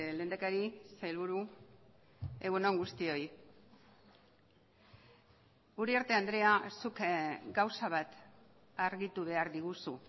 lehendakari sailburu egun on guztioi uriarte andrea zuk gauza bat argitu behar diguzu